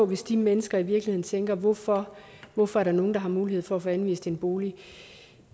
hvis de mennesker i virkeligheden tænker hvorfor hvorfor er der nogle der har mulighed for at få anvist en bolig